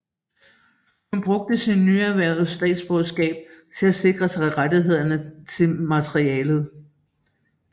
Han brugte sit nyerhvervede statsborgerskab til at sikre sig rettighederne til materialet